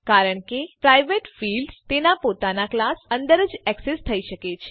કારણ કે private fields તેના પોતાના ક્લાસ અંદર જ એક્સેસ થઇ શકે છે